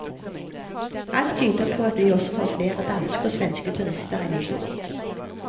Alt tyder på at vi også får flere danske og svenske turister enn i fjor.